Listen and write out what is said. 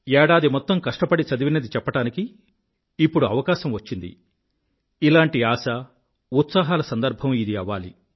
ఏడాది మొత్తం కష్టపడి చదివినది చెప్పడానికి ఇప్పుడు అవకాశం వచ్చింది ఇలాంటి ఆశాఉత్సాహాల సందర్భం ఇది అవ్వాలి